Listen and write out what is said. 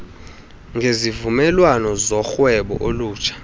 ngezivumelwano zorhwebo olutsha